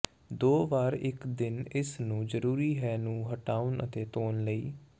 ਦੋ ਵਾਰ ਇੱਕ ਦਿਨ ਇਸ ਨੂੰ ਜ਼ਰੂਰੀ ਹੈ ਨੂੰ ਹਟਾਉਣ ਅਤੇ ਧੋਣ ਲਈ